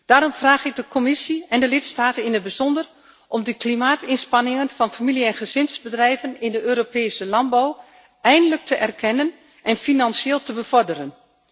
Daarom vraag ik de Commissie en de lidstaten in het bijzonder om de klimaatinspanningen van familie en gezinsbedrijven in de Europese landbouw eindelijk te erkennen en financieel te bevorderen.